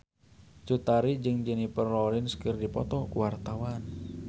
Cut Tari jeung Jennifer Lawrence keur dipoto ku wartawan